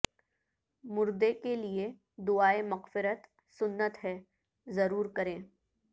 مر دے کے لیے دعا ئے مغفر ت سنت ہے ضرور کریں